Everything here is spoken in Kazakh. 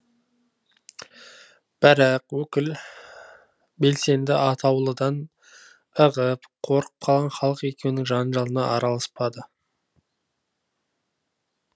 бірақ өкіл белсенді атаулыдан ығып қорқып қалған халық екеуінің жанжалына араласпады